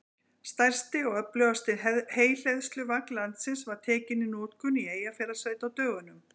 Stærsti og öflugasti heyhleðsluvagn landsins var tekinn í notkun í Eyjafjarðarsveit á dögunum.